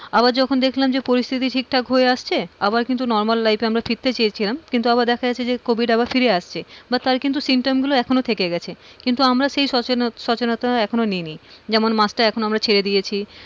আবার যখন দেখলাম পরিস্থিতি ঠিকঠাক হয়ে আসছে আবার কিন্তু normal life ফিরতে চেয়েছিলাম কিন্তু আবার দেখা যাচ্ছে যে covid আবার ফিরে আসছে, বা তার কিন্তু symptom গুলো এখনো থেকে গেছে, কিন্তু আমরা সেই সচেনতা, সচেনতা এখনোনি নি, যেমন মাস্কটা এখন আমরা ছেড়ে দিয়েছি,